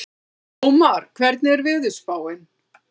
Ómar, hvernig er veðurspáin?